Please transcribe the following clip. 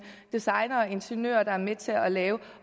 designere og ingeniører der er med til at lave